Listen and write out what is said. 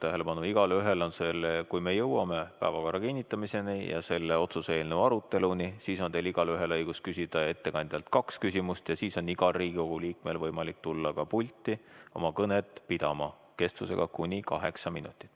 Ma juhin veel kord tähelepanu, et kui me jõuame päevakorra kinnitamiseni ja selle otsuse eelnõu aruteluni, siis on teil igaühel õigus küsida ettekandjalt kaks küsimust ja siis on igal Riigikogu liikmel võimalik tulla ka pulti, et pidada kõne kestusega kuni kaheksa minutit.